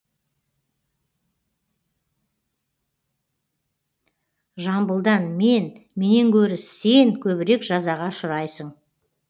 жамбылдан мен менен гөрі сен көбірек жазаға ұшырайсың